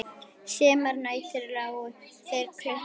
Sumar nætur lágu þeir klukku